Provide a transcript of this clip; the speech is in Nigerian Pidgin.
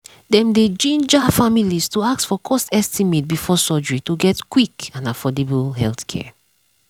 dem dey ginger families to ask for cost estimate before surgery to get quick and affordable healthcare.